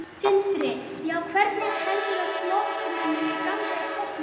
Sindri: Já, hvernig heldurðu að flokknum muni ganga í kosningum?